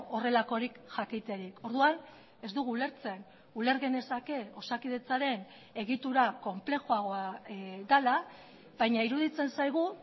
horrelakorik jakiterik orduan ez dugu ulertzen uler genezake osakidetzaren egitura konplexuagoa dela baina iruditzen zaigu